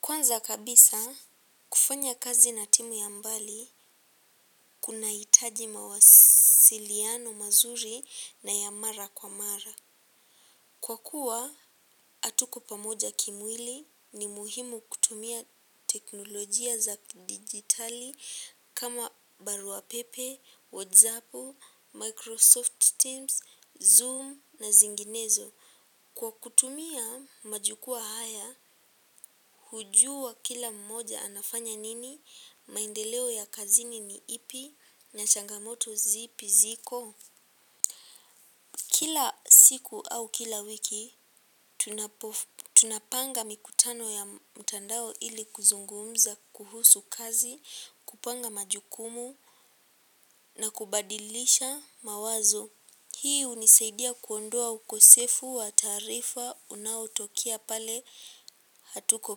Kwanza kabisa kufanya kazi na timu ya mbali kunahitaji mawasiliano mazuri na ya mara kwa mara. Kwa kuwa, hatuko pamoja kimwili ni muhimu kutumia teknolojia za kidigitali kama baruapepe, WhatsApp, Microsoft Teams, Zoom na zinginezo. Kwa kutumia majukuwaa haya, hujua kila mmoja anafanya nini, maendeleo ya kazini ni ipi, na changamoto zipi ziko. Kila siku au kila wiki, tunapanga mikutano ya mtandao ili kuzungumza kuhusu kazi, kupanga majukumu na kubadilisha mawazo. Hii hunisaidia kuondoa ukosefu wa taarifa unaotokea pale hatuko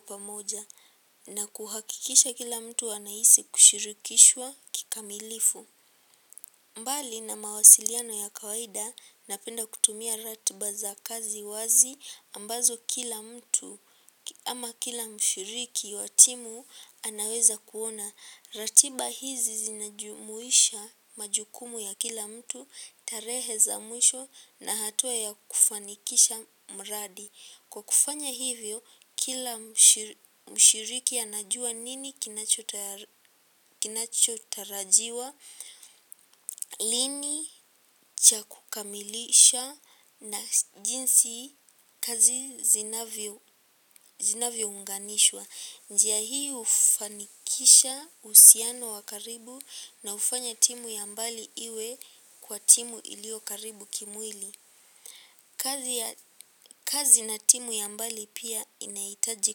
pamoja na kuhakikisha kila mtu anahisi kushirikishwa kikamilifu. Mbali na mawasiliano ya kawaida napenda kutumia ratiba za kazi wazi ambazo kila mtu ama kila mshiriki wa timu anaweza kuona. Ratiba hizi zinajumuisha majukumu ya kila mtu, tarehe za mwisho na hatua ya kufanikisha mradi. Kwa kufanya hivyo, kila mshiriki anajua nini kinachotarajiwa, lini cha kukamilisha na jinsi kazi zinavyo unganishwa. Njia hii hufanikisha uhusiano wa karibu na hufanya timu ya mbali iwe kwa timu iliyo karibu kimwili. Kazi na timu ya mbali pia inahitaji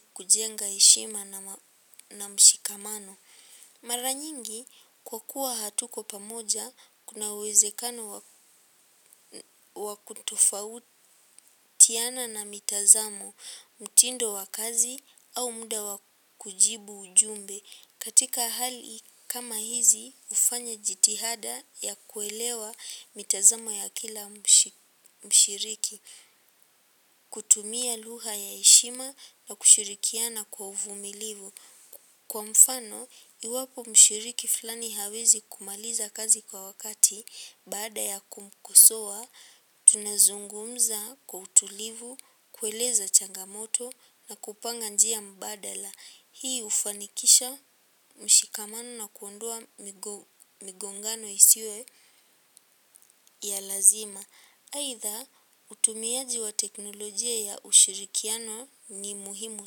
kujenga hehima na mshikamano. Mara nyingi kwa kuwa hatuko pamoja kuna uwezekano wakutofautiana na mitazamuo, mtindo wa kazi au muda wa kujibu ujumbe. Katika hali kama hizi hufanya jitihada ya kuelewa mitazamo ya kila mshiriki. Kutumia luha ya heshima na kushirikiana kwa uvumilivu. Kwa mfano, iwapo mshiriki fulani hawezi kumaliza kazi kwa wakati baada ya kumkosoa, tunazungumza wa utulivu, kueleza changamoto na kupanga njia mbadala. Hii hufanikisha mshikamano na kuondoa migongano isiyo ya lazima. Aidha utumiaji wa teknolojia ya ushirikiano ni muhimu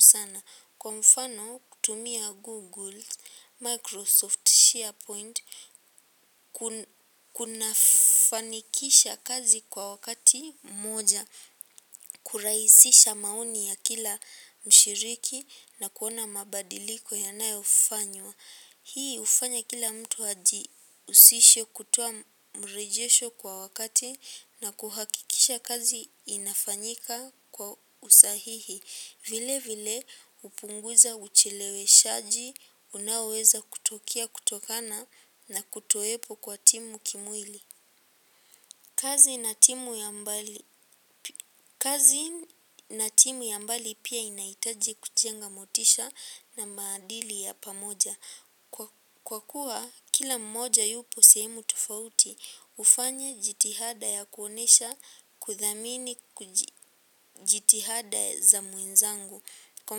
sana. Kwa mfano, kutumia Google, Microsoft, SharePoint, kunafanikisha kazi kwa wakati moja, kurahisisha maoni ya kila mshiriki na kuona mabadiliko yanayofanywa. Hii hufanya kila mtu ajihusishe kutoa mrejesho kwa wakati na kuhakikisha kazi inafanyika kwa usahihi. Vile vile hupunguza uchileweshaji, unaoweza kutokea kutokana na kutowepo kwa timu kimwili. Kazi na timu ya mbali pia inaitaji kujenga motisha na maadili ya pamoja. Kwa kuwa kila mmoja yupo sehemu tofauti, hufanya jitihada ya kuonyesha kuthamini jitihada za mwenzangu. Kwa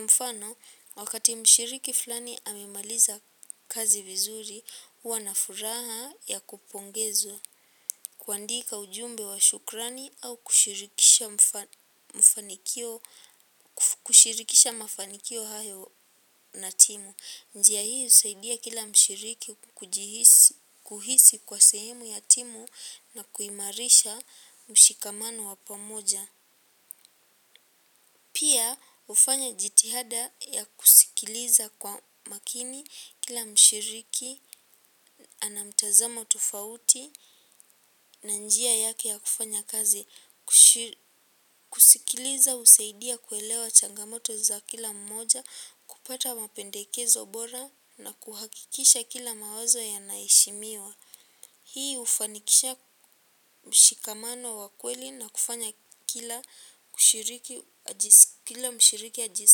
mfano, wakati mshiriki fulani amemaliza kazi vizuri, huwa na furaha ya kupongezwa. Kuandika ujumbe wa shukrani au kushirikisha mafanikio hayo na timu. Njia hii husaidia kila mshiriki kuhisi kwa sehemu ya timu na kuimarisha mshikamano wa pamoja. Pia hufanya jitihada ya kusikiliza kwa makini kila mshiriki ana mtazamo tofauti na njia yake ya kufanya kazi. Kusikiliza husaidia kuelewa changamoto za kila mmoja. Kupata mapendekezo bora na kuhakikisha kila mawazo yanaheshimiwa. Hii hufanikisha mshikamano wa kweli na kufanya kila mshiriki ajisikie kila mshiriki aji.